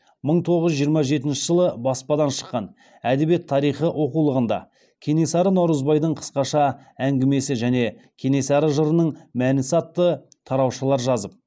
мың тоғыз жүз жиырма жетінші жылы баспадан шыққан әдебиет тарихы оқулығында кенесары наурызбайдың қысқаша әңгімесі және кенесары жырының мәні сатты тараушалар жазып